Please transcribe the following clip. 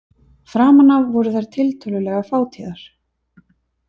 Framan af voru þær tiltölulega fátíðar.